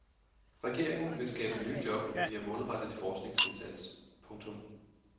Regeringen vil skabe nye job via målrettet forskningsindsats. punktum